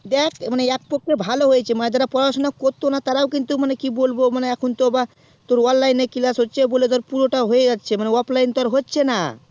দেখ এক পক্ষে ভালোই হয়েছে মানে যারা পড়াশুনা করতো না তারাও কিন্তু কি বলবো এখন তো আবার online এ class হচ্ছে আর offline তো